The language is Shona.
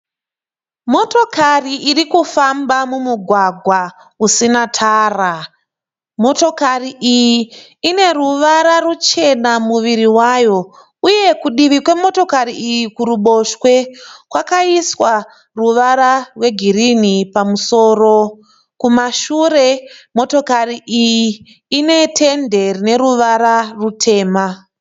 Motokari irikufamba mumugwagwa usina tara. Motokari iyi ine ruvara ruchena muviri wayo, uye kudivi kwemotokari iyi kuruboshwe kwakaiswa ruvara rwe girinhi pamusoro . Kuma shure motokari iyi ine tende rine ruvara rutema